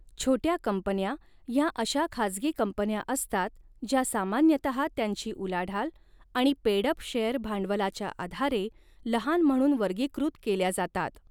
छोट्या कंपन्या ह्या अशा खाजगी कंपन्या असतात ज्या सामान्यतः त्यांची उलाढाल आणि पेड अप शेय़र भांडवलाच्या आधारे लहान म्हणून वर्गीकृत केल्या जातात.